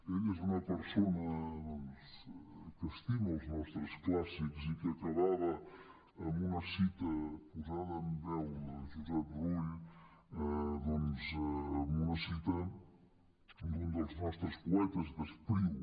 ell és una persona doncs que estima els nostres clàssics i que acabava amb una cita posada en veu de josep rull d’un dels nostres poetes d’espriu